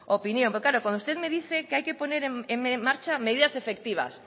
opinión porque claro cuando usted me dice que hay que poner en marcha medidas efectivas